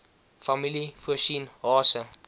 familie voorsien hase